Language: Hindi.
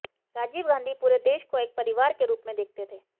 राजीव गांधी पूरे देश को एक परिवार के रूप में देखते थे